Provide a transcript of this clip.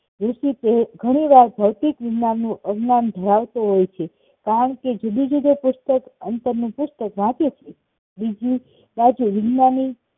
જેથી તે ધણી વાર ભૌતિકજ્ઞાન નું અજ્ઞાન ધરાવતો હોય છે કારણ કે જિંદગી નું પુસ્તક અંતરનું પુસ્તક વાચે છે બીજી બાજુ